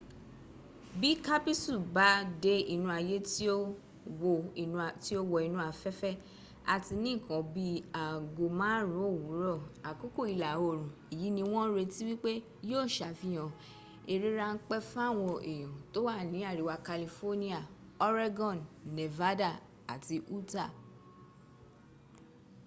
bí kápísù bá dé inú ayé tí ó wọ inú afẹ́fẹ́ àti ní ǹkan bi í aago márùn ún òwúrọ̀ àkókò ìlà òrùn èyí ni wọ́n ń retí wípé yíó sàfihàn eré ráńpẹ́ fáwọn èèyàn tó wà ní àríwá california oregon nevada àti utah